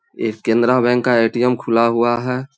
ये केनरा बैंक का ए.टी.एम. खुला हुआ है।